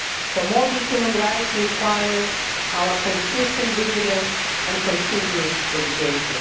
support. Promoting human rights requires our consistent vigilance and continued dedication.